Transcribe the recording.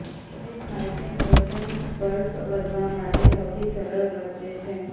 આધુનિક હાયસિન્થ વસંત બલ્બ વધવા માટે સૌથી સરળ વચ્ચે છે